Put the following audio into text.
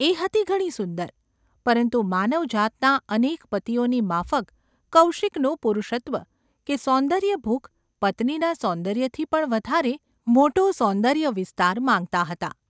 એ હતી ઘણી સુંદર, પરંતુ માનવજાતના અનેક પતિઓની માફક કૌશિકનું પુરુષત્વ કે સૌન્દર્યભૂખ પત્નીના સૌંદર્યથી પણ વધારે મોટો સૌંદર્ય વિસ્તાર માગતાં હતાં.